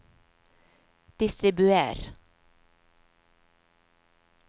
distribuer